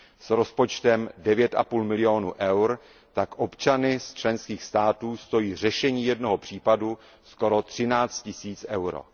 S rozpočtem 9,5 milionů eur tak občany členských států stojí řešení jednoho případu skoro 13 tisíc eur.